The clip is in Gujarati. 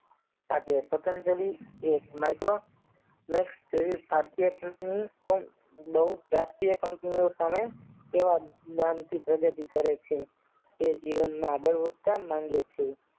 આજે પતંજલિ એ Multromax જેવી ખાદ્ય ચીજની બહુ પ્રત્ય કંપનીઓ સામે એવા નામ થી પ્રગતિ કરે છે તે જીવનમાં આગળ વધતા માંગે છે